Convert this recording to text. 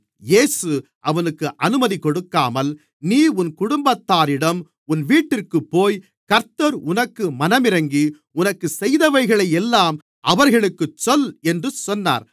இயேசு அவனுக்கு அனுமதி கொடுக்காமல் நீ உன் குடும்பத்தாரிடம் உன் வீட்டிற்குப்போய் கர்த்தர் உனக்கு மனமிறங்கி உனக்குச் செய்தவைகளை எல்லாம் அவர்களுக்குச் சொல் என்று சொன்னார்